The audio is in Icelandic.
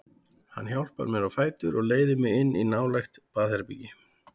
Hann hjálpar mér á fætur og leiðir mig inn í nálægt baðherbergi.